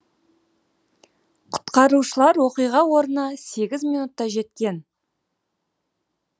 құтқарушылар оқиға орнына сегіз минутта жеткен